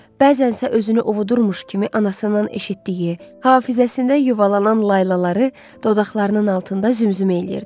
bəzənsə özünü ovudurmuş kimi anasından eşitdiyi, hafizəsində yuvalanan laylaları dodaqlarının altında zümzümə eləyirdi.